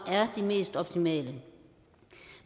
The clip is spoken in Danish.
er de mest optimale